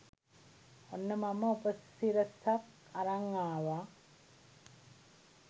ඔන්න මම උපසිරසක් අරන් ආවා